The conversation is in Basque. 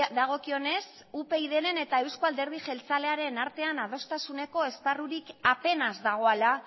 dagokionez upydren eta euzko alderdi jeltzalearen artean adostasuneko esparrurik apenas dagoela